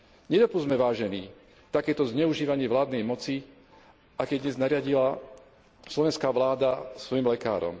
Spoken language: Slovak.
Nedopusťme, vážení, takéto zneužívanie vládnej moci, aké dnes nariadila slovenská vláda svojim lekárom.